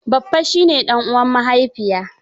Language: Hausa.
Baffa shi ne ɗan uwan mahaifiya.